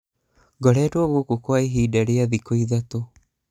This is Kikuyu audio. ngoretwo gũkũ kwa ihinda rĩa thikũ ithatũ